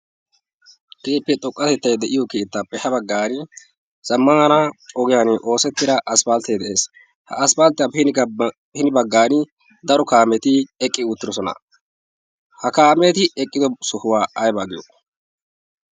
Keehippe xoqqatettay de'iyoo keettaape ha baggaani zammaana ogiyaani oosettida aspaltee de'ess ha aspalttiyaape hi ni bagaani daro kaameti eqqi uttidosona ha kaameti eqqido sohaa ayaba giyoo?